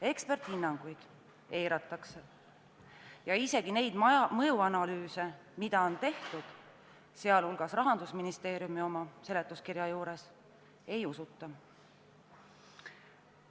Eksperdihinnanguid eiratakse ja isegi mõjuanalüüse, mida on tehtud ja mis on esitatud Rahandusministeeriumi enda seletuskirja juures, ei usuta.